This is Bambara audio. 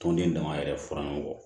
Tɔnden dama yɛrɛ furan kɔ